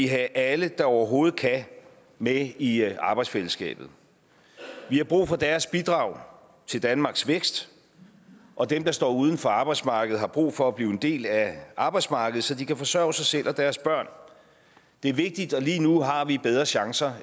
have alle der overhovedet kan med i arbejdsfællesskabet vi har brug for deres bidrag til danmarks vækst og dem der står uden for arbejdsmarkedet har brug for at blive en del af arbejdsmarkedet så de kan forsørge sig selv og deres børn det er vigtigt og lige nu har vi bedre chancer